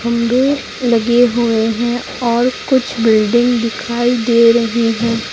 खम्बे लगे हुए हैं और कुछ बिल्डिंग दिखाई दे रही हैं।